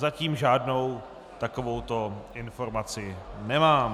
Zatím žádnou takovouto informaci nemám.